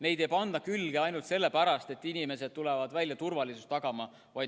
Neid ei panda külge ainult sellepärast, et inimesed on tulnud välja turvalisust tagama.